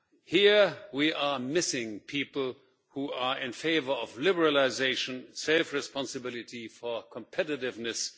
Here, we are missing people who are in favour of liberalisation and safe responsibility for competitiveness.